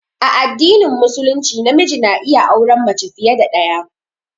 A addinin Musulunci namiji na iya auran mace fiye da ɗaya.